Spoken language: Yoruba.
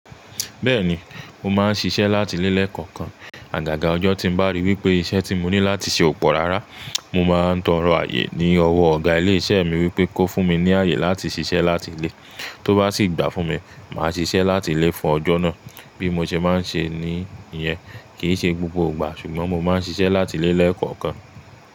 Bẹ́ẹ̀ni, mo máa ń ṣiṣẹ́ láti ilé lẹ kọọkan. Àgàgà ọjọ́ tí m bá ríi wípé iṣẹ́ tí mo ní láti ṣe ò pọ̀ rárá, mo máa ń tọrọ rọ̀ ààyè ní ọwọ́ ọ̀gá ilé iṣẹ́ mi wípé kó fún mi ní ààyè láti ṣiṣẹ́ láti lé. Tó bá sì gbà fún mi, màá ṣiṣẹ́ láti lé fún ọjọ́ náà. Bí mo ṣe má ń ṣe ní ìyẹn kì í ṣe gbogbo ìgbà, ṣùgbọ́n mo máa ń ṣiṣẹ́ láti lé lọ́kàn.